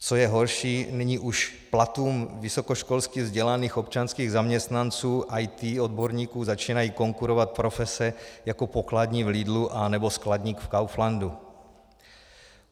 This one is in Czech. Co je horší, nyní už platům vysokoškolsky vzdělaných občanských zaměstnanců IT odborníků začínají konkurovat profese jako pokladní v Lidlu nebo skladník v Kauflandu.